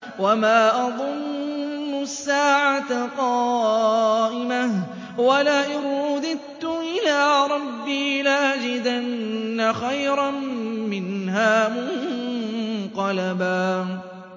وَمَا أَظُنُّ السَّاعَةَ قَائِمَةً وَلَئِن رُّدِدتُّ إِلَىٰ رَبِّي لَأَجِدَنَّ خَيْرًا مِّنْهَا مُنقَلَبًا